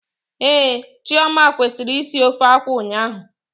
Ehhh, Chioma kwesịrị isi ofe akwụ ụnyaahụ